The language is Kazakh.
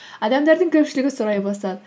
адамдардың көпшілігі сұрай бастады